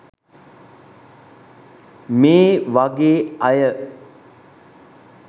මේ වගේ අය